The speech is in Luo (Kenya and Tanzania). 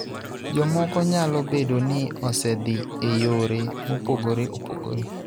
Jomoko nyalo bedo ni osedhi e yore mopogore opogore